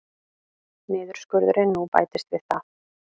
Niðurskurðurinn nú bætist við það